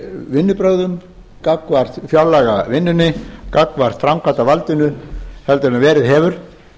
vinnubrögðum gagnvart fjárlagavinnunni gagnvart framkvæmdarvaldinu heldur en verið hefur